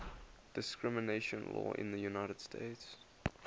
discrimination law in the united states